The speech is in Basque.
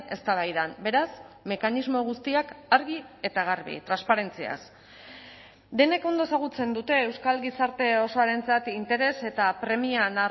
eztabaidan beraz mekanismo guztiak argi eta garbi transparentziaz denek ondo ezagutzen dute euskal gizarte osoarentzat interes eta premia